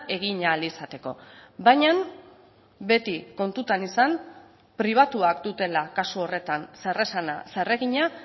egin ahal izateko baina beti kontutan izan pribatuak dutela kasu horretan zer esana zer egina